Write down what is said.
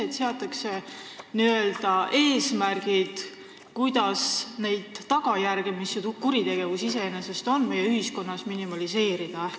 Just seepärast, et seatakse eesmärgid, kuidas minimeerida neid tagajärgi, mida kuritegevus iseenesest meie ühiskonnas põhjustab.